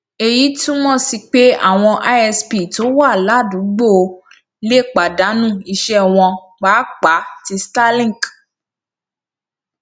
èyí túmọ sí pé àwọn isp tó wà ládùúgbò lè pàdánù iṣẹ wọn pàápàá tí starlink